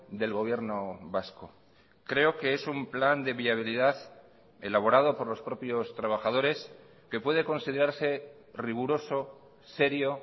del gobierno vasco creo que es un plan de viabilidad elaborado por los propios trabajadores que puede considerarse riguroso serio